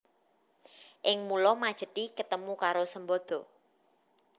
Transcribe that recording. Ing pulo Majethi ketemu karo Sembada